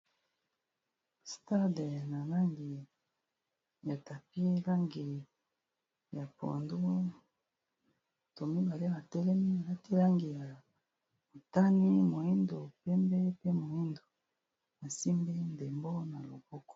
stade na langi ya tapie langi ya poadu tomibale matelemi elati langi ya otani moindo pemde pe moindo asimbi ndembo na loboko